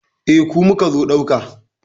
Eh, ku muka zo ɗauka.